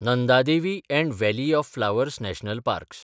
Nanda Devi and valley of flowers national parks